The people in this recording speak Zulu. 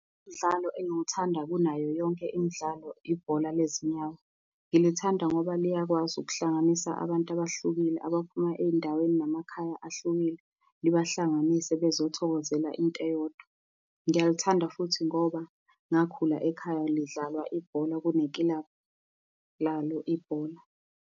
Umdlalo engiwuthanda kunayo yonke imidlalo, ibhola lezinyawo. Ngilithanda ngoba liyakwazi ukuhlanganisa abantu abahlukile abaphuma ey'ndaweni namakhaya ahlukile, libahlanganise bazothokozela into eyodwa. Ngiyalithanda futhi ngoba ngakhula ekhaya lidlalwa ibhola kunekilabhu lalo ibhola.